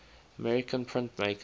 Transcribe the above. american printmakers